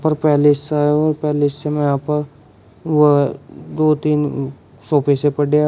पर पैलेस है और पैलेस में यहां पर व दो तीन सोफे से पडे हैं।